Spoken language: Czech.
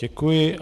Děkuji.